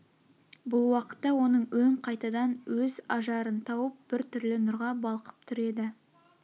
бұл уақытта оның өң қайтадан өз ажарын тауып бір түрлі нұрға балқып тұр еді